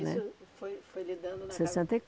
né. Isso foi foi lidando Sessenta e